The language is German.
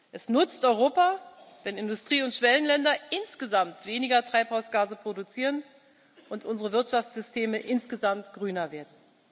Es nützt Europa, wenn Industrie und Schwellenländer insgesamt weniger Treibhausgase produzieren und unsere Wirtschaftssysteme insgesamt grüner werden.